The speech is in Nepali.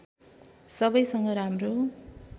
सबैसँग राम्रो